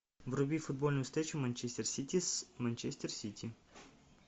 вруби футбольную встречу манчестер сити с манчестер сити